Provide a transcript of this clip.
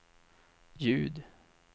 ljud